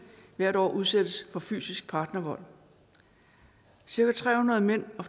hvert år udsættes for fysisk partnervold cirka tre hundrede mænd og